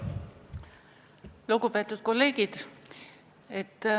Lugupeetud kolleegid!